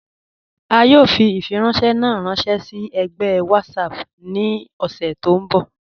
A yọ̀ fi ifiranṣẹ̀ na ranṣẹ si ẹ̀gbẹ WhatsApp ni ọṣẹ tó nbọ̀.